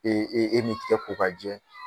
Ee e min tɛgɛ ko k'a jɛ.